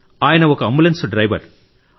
ఆయన ఒక ambulance driver